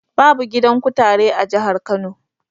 Babu. gidan kutare a jihar Kano.